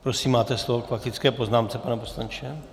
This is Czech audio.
Prosím, máte slovo k faktické poznámce, pane poslanče.